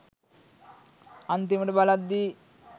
අන්තිමට බලද්දි